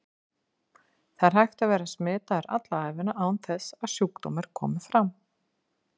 Það er hægt að vera smitaður alla ævina án þess að sjúkdómur komi fram.